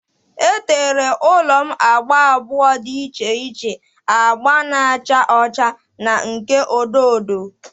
E tere ụlọ m agba abụọ dị iche iche, agba na-acha ọcha na nke odo odo.